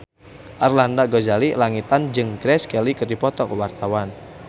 Arlanda Ghazali Langitan jeung Grace Kelly keur dipoto ku wartawan